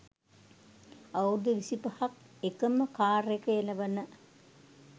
අවුරුදු විසිපහක් එකම කාර් එක එළවන